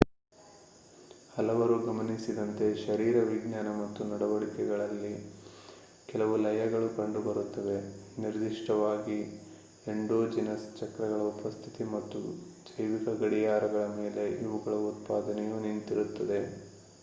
ಹಲವರು ಗಮನಿಸಿದಂತೆ ಶರೀರವಿಜ್ಞಾನ ಮತ್ತು ನಡವಳಿಕೆಯಲ್ಲಿ ಕೆಲವು ಲಯಗಳು ಕಂಡುಬರುತ್ತವೆ ನಿರ್ದಿಷ್ಟವಾಗಿ ಎಂಡೋಜಿನಸ್ ಚಕ್ರಗಳ ಉಪಸ್ಥಿತಿ ಮತ್ತು ಜೈವಿಕ ಗಡಿಯಾರಗಳ ಮೇಲೆ ಇವುಗಳ ಉತ್ಪಾದನೆಯು ನಿಂತಿರುತ್ತದೆ